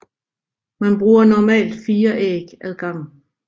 Man bruger normalt 4 æg ad gangen